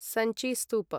Sanchi स्तूप